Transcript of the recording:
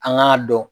An k'a dɔn